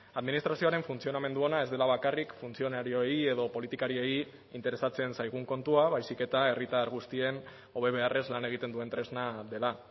administrazioaren funtzionamendu ona ez dela bakarrik funtzionarioei edo politikariei interesatzen zaigun kontua baizik eta herritar guztien hobe beharrez lan egiten duen tresna dela